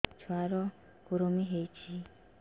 ଛୁଆ ର କୁରୁମି ହୋଇଛି